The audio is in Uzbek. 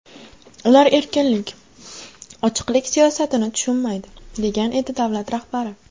Ular erkinlik, ochiqlik siyosatini tushunmaydi”, degan edi davlat rahbari.